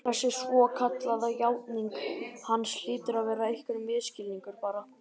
Þessi svokallaða játning hans hlýtur að vera einhver misskilningur, bara